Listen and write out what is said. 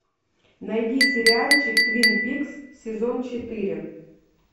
найди сериальчик твин пикс сезон четыре